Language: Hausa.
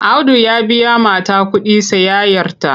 Audu ya biya mata kuɗin sayayyarta.